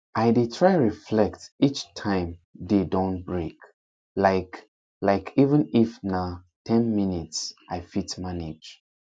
i dey try reflect each time day don break like like even if na ten minutes i fit manage